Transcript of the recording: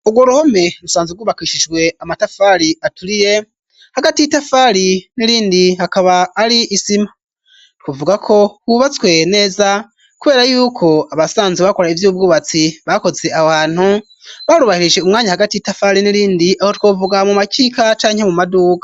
Urwo ruhome rusanze rwubakishijwe amatafari aturire hagati y'i tafali n'irindi hakaba ari isima twuvugako hubatswe neza, kubera yuko abasanze bakora ivyo ubwubatsi bakoze aho hantu barubahirishe umwanya hagati y'i tafari n'irindi aho twovuga mu makika canke mu maduka.